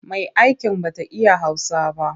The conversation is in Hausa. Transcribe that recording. Mai'aikin ba ta iya Hausa ba.